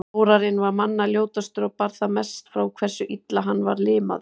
Þórarinn var manna ljótastur og bar það mest frá hversu illa hann var limaður.